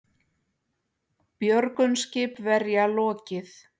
Björgun skipverja lokið